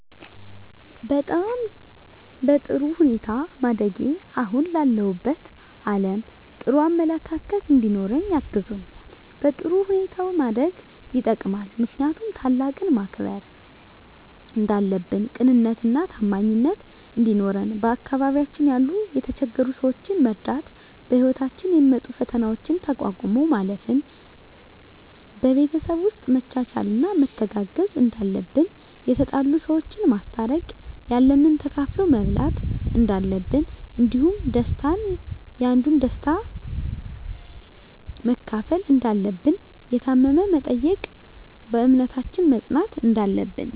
በጣም በጥሩ ሁኔታ ማደጌ አሁን ላለሁበት አለም ጥሩ አመለካከት እንዲኖረኝ አግዞኛል በጥሩ ሁኔታ ማደግ የጠቅማል ምክንያቱም ታላቅን ማክበር እንዳለብን ቅንነትና ታማኝነት እንዲኖረን በአካባቢያችን ያሉ የተቸገሩ ሰዎችን መርዳት በህይወታችን የሚመጡ ፈተናዎችን ተቋቁሞ ማለፍ ን በቤተሰብ ውስጥ መቻቻልና መተጋገዝ እንዳለብን የተጣሉ ሰዎችን ማስታረቅ ያለንን ተካፍሎ መብላት እንዳለብን እንዲሁም ደስታን ያንዱን ደስታ መካፈል እንዳለብን የታመመ መጠየቅን በእምነታችን መፅናት እንዳለብን